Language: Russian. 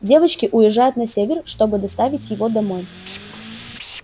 девочки уезжают на север чтобы доставить его домой